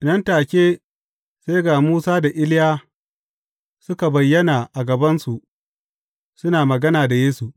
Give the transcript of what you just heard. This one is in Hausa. Nan take sai ga Musa da Iliya suka bayyana a gabansu, suna magana da Yesu.